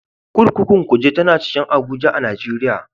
Kurkukun Kuje tana cikin Abuja a Najeriya.